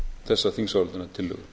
þessa þingsályktunartillögu